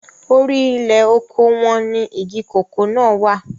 orí ilẹ̀ oko wọn ni igi kòkó náà wà